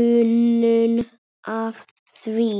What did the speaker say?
unun af því.